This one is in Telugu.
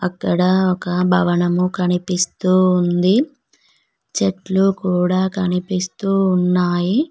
అక్కడ ఒక భవనము కనిపిస్తూ ఉంది చెట్లు కూడా కనిపిస్తూ ఉన్నాయి.